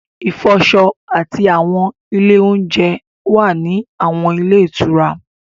Ìfọṣọ àti àwọn ilé oúnjẹ wà ní àwọn ilé ìtura